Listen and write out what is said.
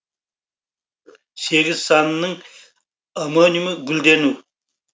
сегіз санының омонимі гүлдену